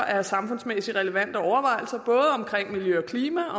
af samfundsmæssigt relevante overvejelser om miljø og klima